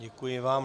Děkuji vám.